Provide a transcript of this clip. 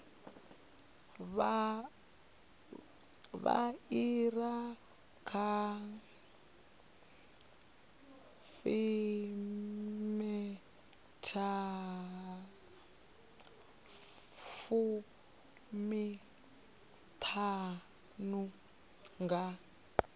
vha iri dza fumiṱhanu nga